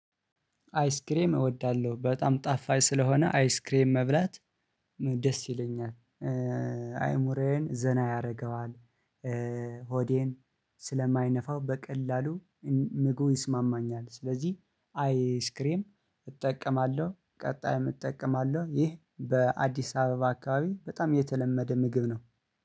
አይስክሬም አወዳለው በጣም ጣፋጭ ስለሆነ አይስክሬም መብላት ደስ ይለኛል። አእምሮዬን ዘና ያረገዋል ሆዴን ስለማይነፋው በቀላሉ ምግቡ ይስማማኛል ስለዚህ አይስክሬም እጠቀማለሁ ቀጣይም እጠቀማለዉ። ይህ በአዲስ አበባ አከባቢ በጣም የተለመደ ምግብ ነው።